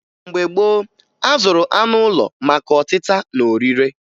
Mgbe gboo, a zụrụ anụ ụlọ maka ọtịta na orire